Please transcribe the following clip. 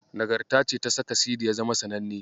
Nagarta ce ta saka Sidi ya zama sananne.